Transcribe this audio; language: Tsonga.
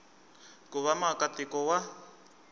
ku va muaka tiko wa